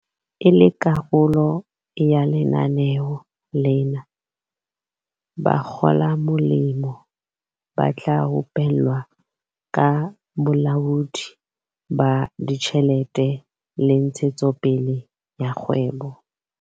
E le karolo ya lenaneo lena, bakgolamolemo ba tla rupellwa ka bolaodi ba ditjhelete le ntshetsopele ya kgwebo.